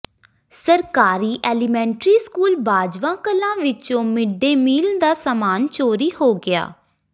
ਸਰਕਾਰੀ elementary school Bajwa Kalan ਵਿਚੋਂ mid day meal ਦਾ ਸਾਮਾਨ ਚੋਰੀ ਹੋ ਗਿਆ